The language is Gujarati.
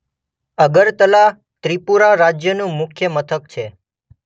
અગરતલા ત્રિપુરા રાજ્યનું મુખ્ય મથક છે.